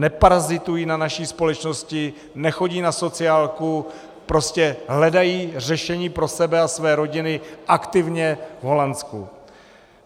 Neparazitují na naší společnosti, nechodí na sociálku, prostě hledají řešení pro sebe a své rodiny aktivně v Holandsku.